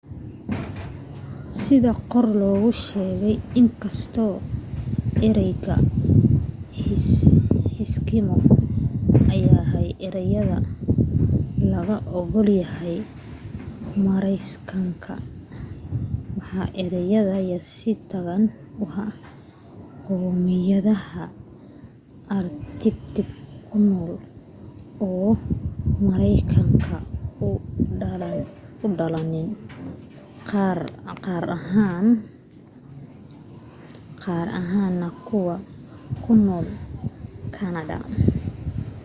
sida kor lagu sheegay inkastoo ereyga eskimo ayaa ah erey laga ogolahay maraykanka waa erey yasitaan ku ah qowmiyadaha arctic ku nool oo maraykanka u dhalanin gaar ahaan na kuwa ku nool canada